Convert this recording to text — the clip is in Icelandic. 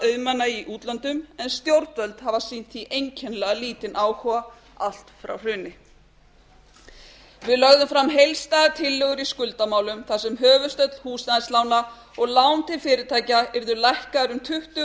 auðmanna í útlöndum en stjórnvöld hafa sýnt því einkennilega lítinn áhuga allt frá hruni við lögðum fram heildstæðar tillögur í skuldamálum þar sem höfuðstóll húsnæðislána og lán til fyrirtækja yrðu lækkuð um tuttugu